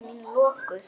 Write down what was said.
Augu mín lokuð.